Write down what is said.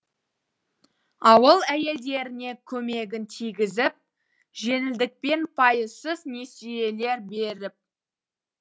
ауыл әйелдеріне көмегін тигізіп жеңілдікпен пайызсыз несиелер беріп